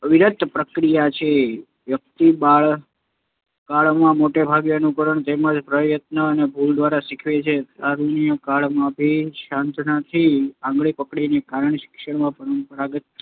અવિરત પ્રક્રિયા છે. વ્યક્તિ બાલ્યકાળમાં મોટેભાગે શિક્ષણ અનુકરણથી અને પ્રયત અને ભૂલ દ્વારા શીખે છે. તારૂણ્યકાળમાં અભિસંધાનની આંગળી પકડીને કારક શિક્ષણમાં પારંગત